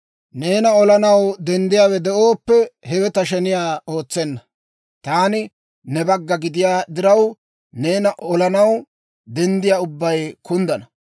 Neena olanaw denddiyaawe de'ooppe, hewe ta sheniyaa ootsenna; taani ne bagga gidiyaa diraw, neena olanaw denddiyaa ubbay kunddana.